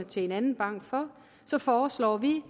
til en anden bank for foreslår vi